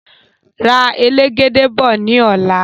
Ra elegede bọ̀ ní ọ̀la